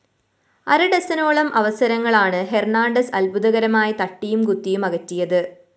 അര ഡസനോളം അവസരങ്ങളാണ് ഹെര്‍ണാണ്ടസ് അത്ഭുതകരമായി തട്ടിയും കുത്തിയുമകറ്റിയത്